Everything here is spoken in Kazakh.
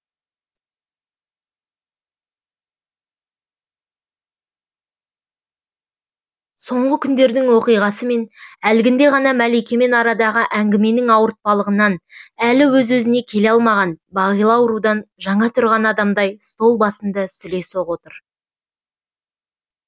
соңғы күндердің оқиғасы мен әлгінде ғана мәликемен арадағы әңгіменің ауыртпалығынан әлі өзіне өзі келе алмаған бағила аурудан жаңа тұрған адамдай стол басында сүлесоқ отыр